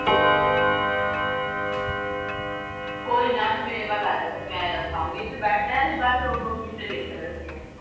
ਕੋਈ ਨਾ ਤੂੰ ਮੇੇਰੇ ਵੱਲ ਆ ਜਾ। ਤੈਨੂੰ ਮੈਂ ਦਿਖਾਉਂਗੀ। ਇਥੇ ਬੈਠ ਕੇ ਬਾਹਰ ਮੁੰਡੇ ਦੇਖਾ ਕਰਾਂਗੀਆਂ।